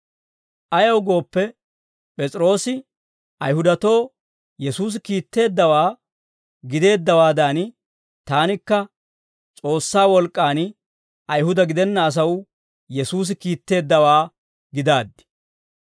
Ayaw gooppe, P'es'iroosi Ayihudatoo Yesuusi kiitteeddawaa gideeddawaadan, taanikka S'oossaa wolk'k'aan Ayihuda gidenna asaw Yesuusi kiitteeddawaa gidaaddi.